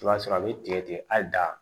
I b'a sɔrɔ a bɛ tigɛ tigɛ a da